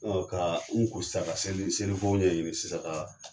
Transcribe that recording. Ɔ ka u ko sisan ka seli seliko ɲɛɲini sisan ka